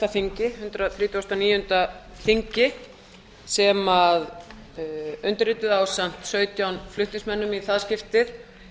þingi hundrað þrítugasta og níunda þingi sem undirrituð ásamt sautján flutningsmönnum í það skiptið